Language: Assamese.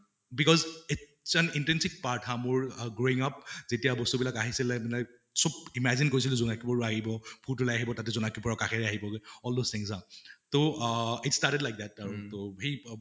because its an intrinsic part হা মোৰ growing up যেতিয়া বস্তু বিলাক আহিছিলে চব imagine কৰিছিলো জোনাকী পৰুৱা আহিব, ভূত ওলাই আহিব তাতে জোনাকী পৰুৱা কাষেৰে আহিব্গে all those things হা তʼ আহ it started like that